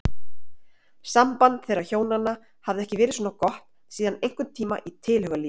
Samband þeirra hjónanna hafði ekki verið svona gott síðan einhverntíma í tilhugalífinu.